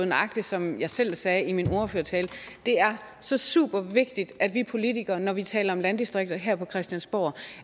nøjagtig som jeg selv sagde i min ordførertale det er så super vigtigt at vi politikere når vi taler om landdistrikter her på christiansborg